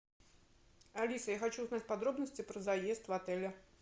алиса я хочу узнать подробности про заезд в отели